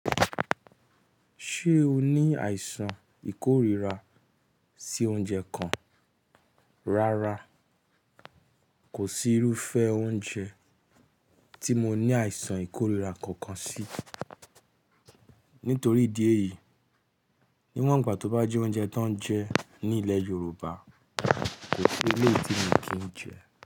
Ṣé o ní àìsàn ìkóríra sí oúnjẹ kan? Rárá, kò sí irúfẹ́ oúnjẹ tí mo ní àìsàn ìkóríra kankan sí. Nítorí ìdí èyí, níwọ̀n ìgbà tó bá jẹ oúnjẹ tó ń jẹ ní ilẹ̀ Yorùbá, ko si eléyìí tí mi kí n jẹ.